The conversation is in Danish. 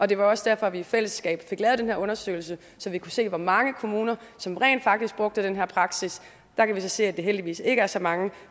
det var også derfor vi i fællesskab fik lavet den her undersøgelse så vi kunne se hvor mange kommuner som rent faktisk brugte den her praksis der kan vi så se at det heldigvis ikke er så mange